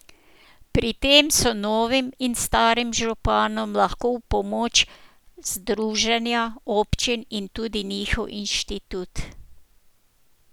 Pri tem so novim in starim županom lahko v pomoč združenja občin in tudi njihov inštitut.